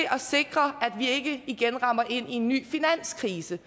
at sikre at vi ikke igen rammer ind i en ny finanskrise